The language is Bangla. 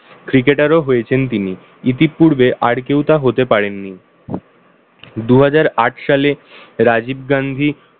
cricketer হয়েছেন তিনি। ইতিপূর্বে আর কেউ তা হতে পারেন নি। দুহাজার আট সালে রাজীব গান্ধী